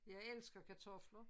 Jeg elsker kartofler